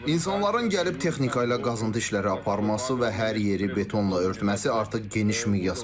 İnsanların gəlib texnika ilə qazıntı işləri aparması və hər yeri betonla örtməsi artıq geniş miqyas alıb.